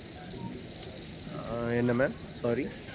ஆஹ் என்ன ma'am sorry?